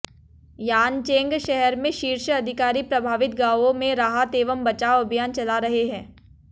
Yancheng शहर में शीर्ष अधिकारी प्रभावित गांवों में राहत एवं बचाव अभियान चला रहे हैं